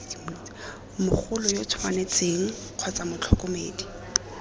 mogolo yo tshwanetseng kgotsa motlhokomedi